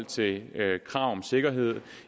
til krav om sikkerhed